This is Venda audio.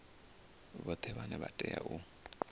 vhoṱhe vhane vha tea u